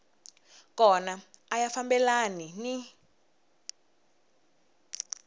kona a ya fambelani ni